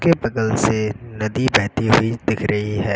के बगल से नदी बहती हुई दिख रही है।